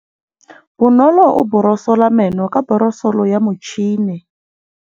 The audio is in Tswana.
Bonolô o borosola meno ka borosolo ya motšhine.